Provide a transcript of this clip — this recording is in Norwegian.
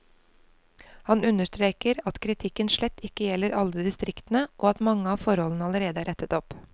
Han understreker at kritikken slett ikke gjelder alle distriktene, og at mange av forholdene allerede er rettet opp.